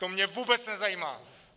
To mě vůbec nezajímá.